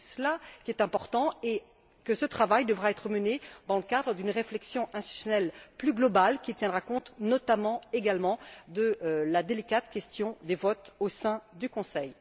C'est cela qui est important et ce travail devra être mené dans le cadre d'une réflexion institutionnelle plus globale qui tiendra compte notamment, également, de la délicate question des votes au sein du Conseil.